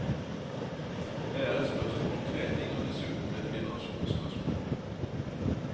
Det er et spørsmål om trening og dessuten et generasjonsspørsmål.